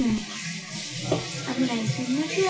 হুম, এমন একদিন নাকি